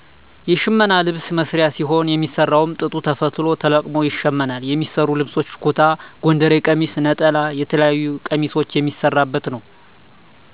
የሽመና የልብስ መስሪያ ሲሆን የሚሰራዉም ጥጡ ተፈትሎ ተቀልሞ ይሸመናል የሚሰሩ ልብሶች ኩታ፣ ጎንደሬ ቀሚስ፣ ነጠላ የተለያዩ ቀሚሶች የሚሰራበት ነዉ።